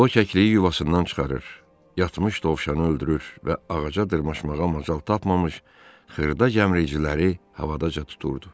O çəkdiyi yuvasından çıxarır, yatmış dovşanı öldürür və ağaca dırmaşmağa macal tapmamış xırda gəmiriciləri havadaca tuturdu.